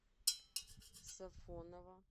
сафоново